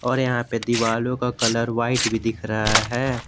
और यहां पे दीवालों का कलर व्हाइट भी दिख रहा है।